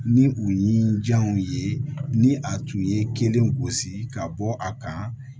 Ni u ye ni jɔnw ye ni a tun ye kelen gosi ka bɔ a kan